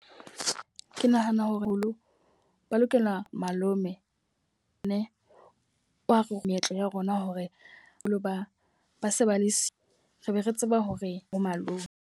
Ke nahana hore haholo ba lokela malome ne wa meetlo ya rona, hore jwalo ba ba se ba le se re be re tseba hore bo malome.